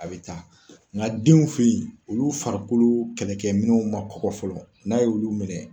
A be taa nka denw fɛ yen, olu farikolo kɛlɛ kɛ minɛnw ma kɔkɔ fɔlɔ n'a y'olu minɛ